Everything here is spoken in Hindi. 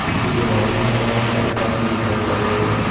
पीछे जो बाउंड्री है वहां एक पाइपलाइन भी दिखाई पड़ रही है।